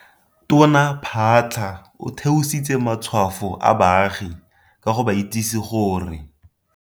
Tona Phaahla o theositse matshwafo a baagi ka go ba itsise gore.